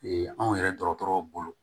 anw yɛrɛ dɔgɔtɔrɔw bolo